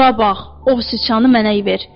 Bura bax, o sıçanı mənə ver.